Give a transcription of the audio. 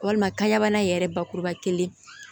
Walima kaɲɛbana ye yɛrɛ bakuruba kelen